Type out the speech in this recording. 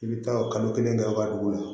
I bɛ taa kalo kelen kɛ an ka dugu la